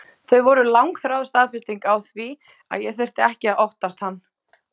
Þau voru langþráð staðfesting á því að ég þurfti ekki að óttast hann.